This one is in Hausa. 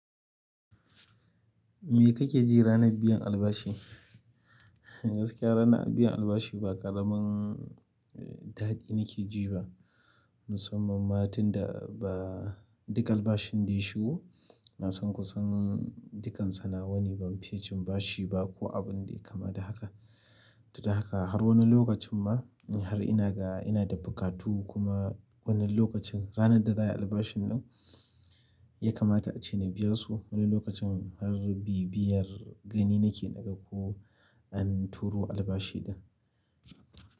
Me kake ji ranar biyan albashi? Gaskiya ranar biyan albashi ba ƙaramin daɗi nake ji ba, musamman ma tin da ba duk albashin da ya shigo. Na san ku san dukan sana'o'i ban fi cin bashi ba ko abun da kama da haka. To, dan haka har wani lokacin ma har ina ga ina da buƙatu kuma wannan lokacin ranar da za a yi albashin nan ya kamata ace na biya su. Wani lokacin har bibiyar gani nake daga ko an turo albashi ɗin.